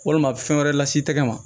Walima a bɛ fɛn wɛrɛ las'i tɛgɛ ma